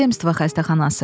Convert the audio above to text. Zemstvo xəstəxanası.